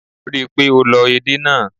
Rí i pé o lọ èdè náà.